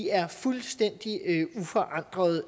er fuldstændig uforandrede